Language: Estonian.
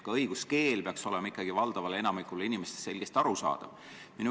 Ka õiguskeel peaks olema valdavale enamikule inimestest selgesti arusaadav.